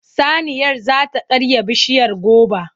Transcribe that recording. Saniyar za ta karya bishiyar goba.